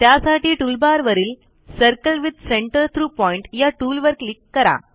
त्यासाठी टूलबारवरील circle with centre through point या टूलवर क्लिक करा